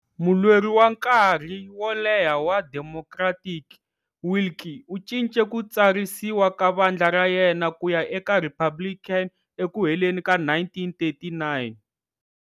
Mulweri wa nkarhi wo leha wa Democratic, Willkie u cince ku tsarisiwa ka vandla ra yena kuya eka Republican eku heleni ka 1939.